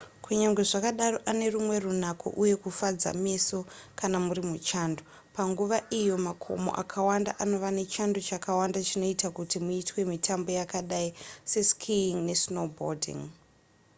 kunyange zvakadaro ane rumwe runako uye kufadza meso kana muri muchando panguva iyo makomo akawanda anova nechando chakawanda chinoita kuti muitwe mitambo yakadai seskiing nesnowboarding